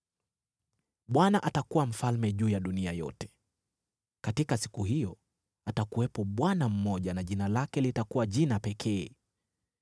Bwana atakuwa mfalme juu ya dunia yote. Katika siku hiyo atakuwepo Bwana mmoja na jina lake litakuwa jina pekee.